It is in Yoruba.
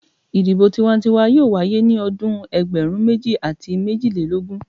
Idibo tiwantiwa yoo waye ni ọdun ẹgbẹrun meji ati mejilelogun